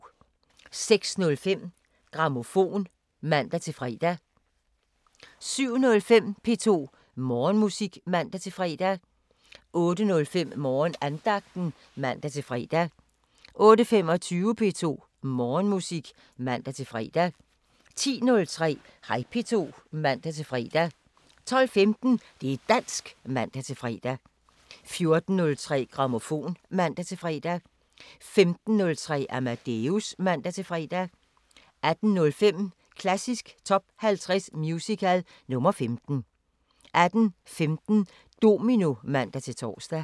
06:05: Grammofon (man-fre) 07:05: P2 Morgenmusik (man-fre) 08:05: Morgenandagten (man-fre) 08:25: P2 Morgenmusik (man-fre) 10:03: Hej P2 (man-fre) 12:15: Det´ dansk (man-fre) 14:03: Grammofon (man-fre) 15:03: Amadeus (man-fre) 18:05: Klassisk Top 50 Musical – nr. 15 18:15: Domino (man-tor)